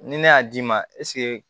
Ni ne y'a d'i ma